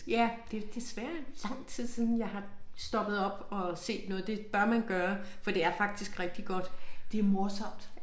Ja det desværre et stykke tid siden jeg har stoppet op og set noget det bør man gøre for det er faktisk rigtig godt. Det morsomt